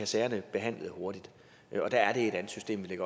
sagerne behandlet hurtigt og der er det et andet system vi